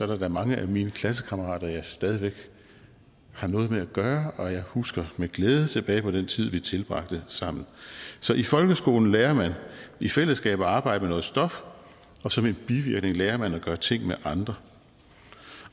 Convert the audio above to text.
der da mange af mine klassekammerater jeg stadig væk har noget med at gøre og jeg husker med glæde tilbage på den tid vi tilbragte sammen så i folkeskolen lærer man i fællesskab at arbejde med noget stof og som en bivirkning lærer man at gøre ting med andre